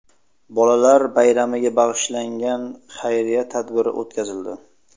Bolalar bayramiga bag‘ishlangan xayriya tadbiri o‘tkazildi.